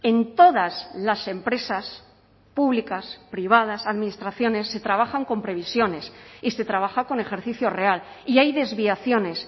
en todas las empresas públicas privadas administraciones se trabajan con previsiones y se trabaja con ejercicio real y hay desviaciones